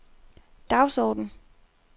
dagsorden